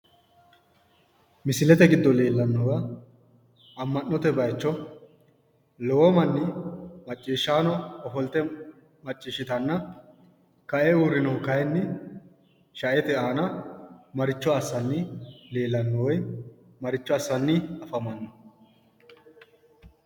Misilete giddo leelanowa ama'note bayicho lowo Mani maciishano ofolite maciishitana kae urinnohu kayini shaete aana maricho asanni leelano woyi maricho asanni afamano?